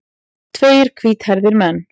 Tveir hvíthærðir menn.